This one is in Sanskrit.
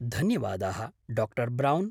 धन्यवादाः, डा. ब्रौन्।